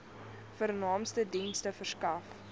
vernaamste dienste verskaf